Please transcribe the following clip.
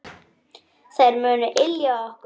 Þær munu ylja okkur.